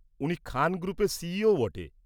উনি খান গ্রুপের সিইওও বটে।